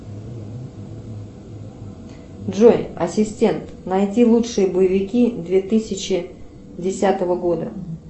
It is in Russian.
джой ассистент найди лучшие боевики две тысячи десятого года